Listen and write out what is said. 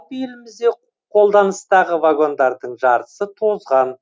елімізде қолданыстағы вагондардың жартысы тозған